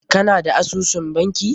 Ka na da asusun banki?